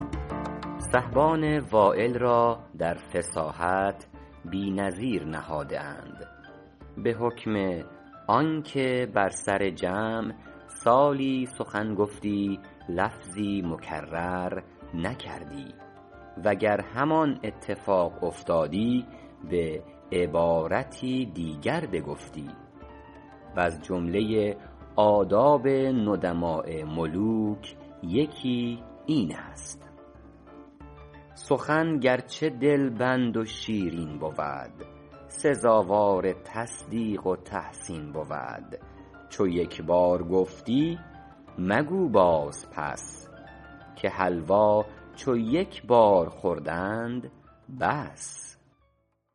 سحبان وایل را در فصاحت بی نظیر نهاده اند به حکم آن که بر سر جمع سالی سخن گفتی لفظی مکرر نکردی وگر همان اتفاق افتادی به عبارتی دیگر بگفتی وز جمله آداب ندماء ملوک یکی این است سخن گرچه دلبند و شیرین بود سزاوار تصدیق و تحسین بود چو یک بار گفتی مگو باز پس که حلوا چو یک بار خوردند بس